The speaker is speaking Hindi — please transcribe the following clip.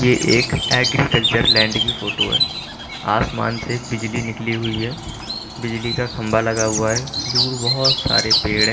ये एक एग्रीकल्चर लैंड की फोटो है आसमान से बिजली निकली हुई है बिजली का खंभा लगा हुआ है दूर बहोत सारे पेड़--